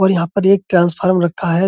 और यहाँ पर एक ट्रांसफॉर्म रखा हैं।